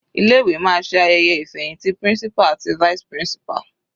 Ilé ìwé máa ṣe ayẹyẹ ìfẹhìntì principal àti vice principal.